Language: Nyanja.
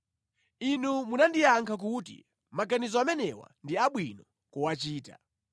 Inu munandiyankha kuti, “Maganizo amenewa ndi abwino kuwachita.”